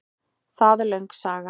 Það er löng saga.